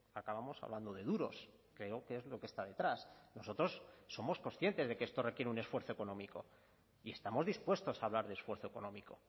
acabamos hablando de duros creo que es lo que está detrás nosotros somos conscientes de que esto requiere un esfuerzo económico y estamos dispuestos a hablar de esfuerzo económico